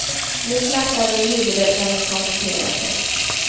Nu smärtar det i huvudet när hon koncentrerar sig.